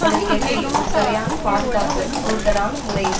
அதில் கெல்லி ஒரு சரியான பாதுகாப்பு கூடுதலான முறையில்